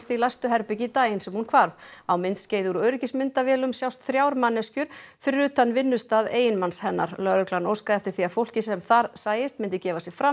í læstu herbergi daginn sem hún hvarf á myndskeiði úr öryggismyndavélum sjást þrjár manneskjur fyrir utan vinnustað eiginmanns hennar lögreglan óskaði eftir því að fólkið sem þar sæist myndi gefa sig fram